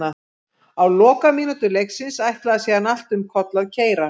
Á lokamínútum leiksins ætlaði síðan allt um koll að keyra.